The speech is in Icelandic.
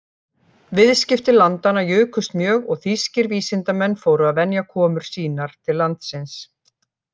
Viðskipti landanna jukust mjög og þýskir vísindamenn fóru að venja komur sínar til landsins.